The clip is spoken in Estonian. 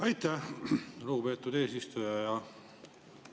Aitäh, lugupeetud eesistuja!